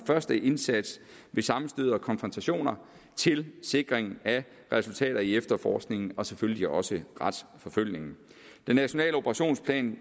første indsats ved sammenstød og konfrontationer til sikring af resultater i efterforskningen og selvfølgelig også retsforfølgningen den nationale operationsplan